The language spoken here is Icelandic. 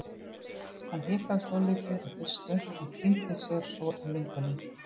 Hann hikaði svolítið í fyrstu en týndi sér svo í myndunum.